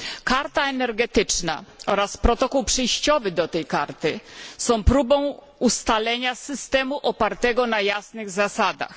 Karta Energetyczna oraz Protokół przejściowy do tej Karty są próbą ustalenia systemu opartego na jasnych zasadach.